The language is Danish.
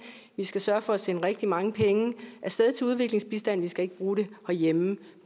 vi skal sørge for at sende rigtig mange penge af sted til udviklingsbistand vi skal ikke bruge dem herhjemme